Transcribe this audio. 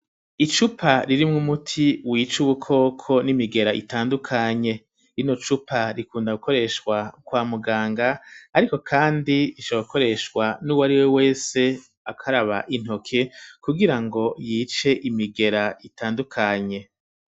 Icupa ririmwo umuti wica ubukoko n'imigera itandukanye rino cupa rikunda gukoreshwa kwa muganga ariko kandi rishora gukoreshwa nuwari we wese akaraba intoke kugira ngo yice imigera itandukanye